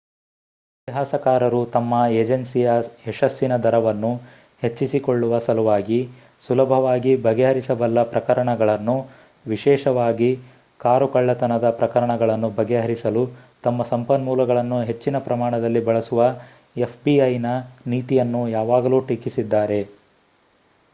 ಇತಿಹಾಸಕಾರರು ತಮ್ಮ ಎಜನ್ಸಿಯ ಯಶಸ್ಸಿನ ದರವನ್ನು ಹೆಚ್ಚಿಸಿಕೊಳ್ಳುವ ಸಲುವಾಗಿ ಸುಲಭವಾಗಿ ಬಗೆಹರಿಸಬಲ್ಲ ಪ್ರಕರಣಗಳನ್ನು ವಿಶೇಷವಾಗಿ ಕಾರು ಕಳ್ಳತನದ ಪ್ರಕರಣಗಳನ್ನು ಬಗೆಹರಿಸಲು ತಮ್ಮ ಸಂಪನ್ಮೂಲಗಳನ್ನು ಹೆಚ್ಚಿನ ಪ್ರಮಾಣದಲ್ಲಿ ಬಳಸುವ fbi ನ ನೀತಿಯನ್ನು ಯಾವಾಗಲೂ ಟೀಕಿಸಿದ್ದಾರೆ